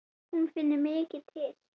Hún finnur mikið til.